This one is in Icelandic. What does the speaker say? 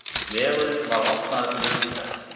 Vegurinn var opnaður fyrir umferð.